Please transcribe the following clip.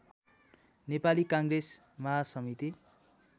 Nepali Congress महासमिति